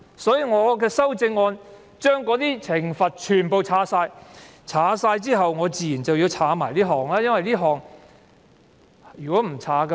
所以，我的其他修正案將罰則全部刪除，而這項修正案刪除這款，以保持一致。